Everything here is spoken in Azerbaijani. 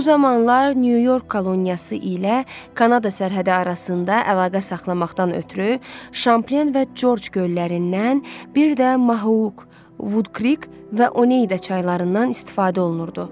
Bu zamanlar Nyu-York koloniyası ilə Kanada sərhədi arasında əlaqə saxlamaqdan ötrü Şamplen və Corc göllərindən, birdə Mohauk, Woodcreek və Oneyda çaylarından istifadə olunurdu.